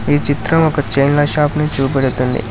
ఈ చిత్రం ఒక చైన్ల షాప్ ని చూపెడుతుంది.